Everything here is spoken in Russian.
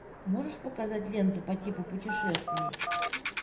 можешь показать ленту по типу путешествий